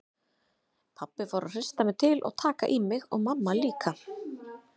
Pabbi fór að hrista mig til og taka í mig og mamma líka.